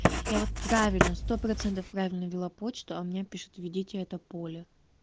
я вот правильно сто поцентов правильно ввела почту а мне пишет введите это поле